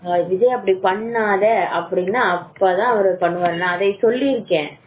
விஜய் அப்படி பண்ணாத அப்படி அப்பதான் அவர் பண்ணுவாரு